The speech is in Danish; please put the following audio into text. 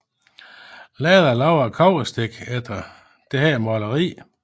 Lahde lavede et kobberstik efter dette maleri